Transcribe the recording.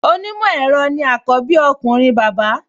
Onímọ̀ ẹ̀rọ ni àkọ́bí ọkùnrin bàbá